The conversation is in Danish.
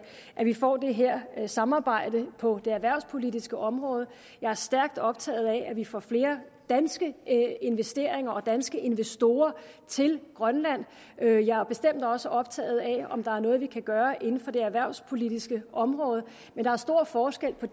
at vi får det her samarbejde på det erhvervspolitiske område jeg er stærkt optaget af at vi får flere danske investeringer og danske investorer til grønland jeg er bestemt også optaget af om der er noget vi kan gøre inden for det erhvervspolitiske område men der er stor forskel på